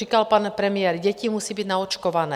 Říkal pan premiér - děti musí být naočkované.